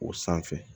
O sanfɛ